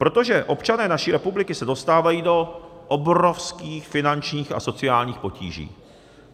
Protože občané naší republiky se dostávají do obrovských finančních a sociálních potíží.